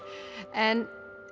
en